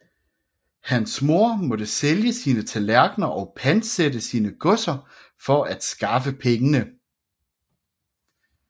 Hans mor måtte sælge sine tallerkener og pantsætte sine godser for at skaffe pengene